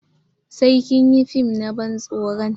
Sai kin yi fim na ban tsoron!